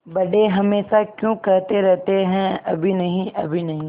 बड़े हमेशा क्यों कहते रहते हैं अभी नहीं अभी नहीं